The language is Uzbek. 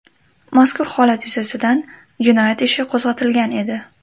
Mazkur holat yuzasidan jinoyat ishi qo‘zg‘atilgan edi.